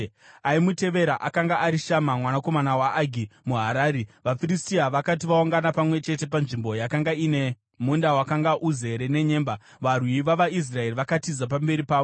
Aimutevera akanga ari Shama mwanakomana weAgi muHarari. VaFiristia vakati vaungana pamwe chete panzvimbo yakanga ine munda wakanga uzere nenyemba, varwi vavaIsraeri vakatiza pamberi pavo.